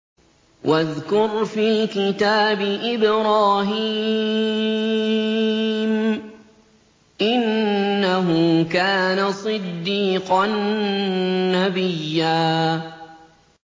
وَاذْكُرْ فِي الْكِتَابِ إِبْرَاهِيمَ ۚ إِنَّهُ كَانَ صِدِّيقًا نَّبِيًّا